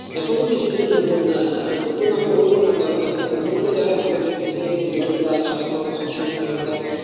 এখনো কিছু কিছু নতুন, নতুন আমি বলবো না কারণ বর্তমানে যারা এখন ভালো খেলতেছে লিটন দাস তারপর সৌম্য সরকার।